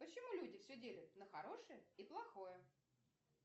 почему люди все делят на хорошее и плохое